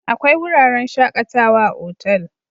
Akwai wuraren shakatawa a otal